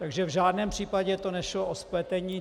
Takže v žádném případě to nešlo o spletení.